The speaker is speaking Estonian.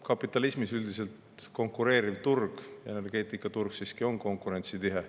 Kapitalismis on konkureeriv turg, energeetikaturg, üldiselt siiski konkurentsitihe.